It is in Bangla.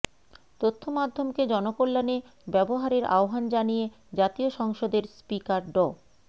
তথ্য মাধ্যমকে জনকল্যাণে ব্যবহারের আহ্বান জানিয়ে জাতীয় সংসদের স্পিকার ড